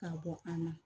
Ka bɔ an na